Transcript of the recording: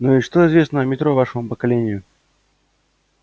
ну и что известно о метро вашему поколению